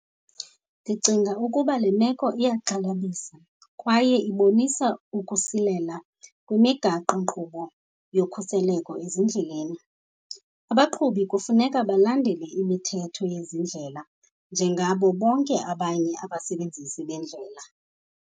Ndicinga ukuba le meko iyaxhalabisa kwaye ibonisa ukusilela kwimigaqonkqubo yokhuseleko ezindleleni. Abaqhubi kufuneka balandele imithetho yezindlela njengabo bonke abanye abasebenzisi bendlela.